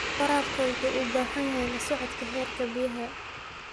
Waraabka wuxuu u baahan yahay la socodka heerka biyaha.